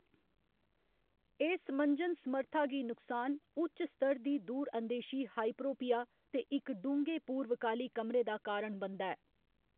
एह्‌‌ समंजन समर्था गी नुक्सान, उच्च स्तर दी दूर अंदेशी हाइपरोपिया ते इक डूंह्‌गे पूर्वकाली कमरे दा कारण बनदा ऐ।